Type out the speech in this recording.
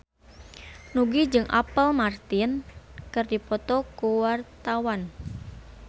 Nugie jeung Apple Martin keur dipoto ku wartawan